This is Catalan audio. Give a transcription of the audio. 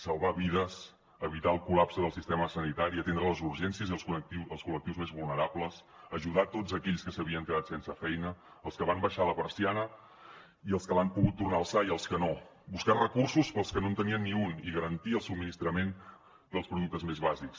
salvar vides evitar el col·lapse del sistema sanitari atendre les urgències i els col·lectius més vulnerables ajudar tots aquells que s’havien quedat sense feina els que van abaixar la persiana i els que l’han pogut tornar a alçar i els que no buscar recursos per als que no en tenien ni un i garantir el subministrament dels productes més bàsics